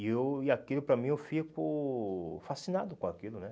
E eu e aquilo, para mim, eu fico fascinado com aquilo, né?